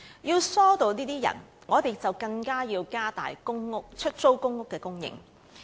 要疏導這些輪候者，我們更應加大出租公屋的供應。